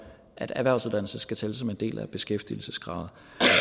at erhvervsuddannelse skal tælle som en del af beskæftigelseskravet